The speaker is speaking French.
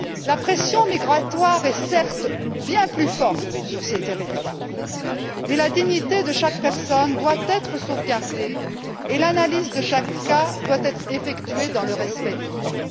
La pression migratoire est certes bien plus forte sur ces territoires, mais la dignité de chaque personne doit être sauvegardée et l'analyse de chaque cas doit être effectuée dans le respect du droit.